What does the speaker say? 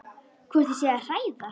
Hvort ég sé að hræða.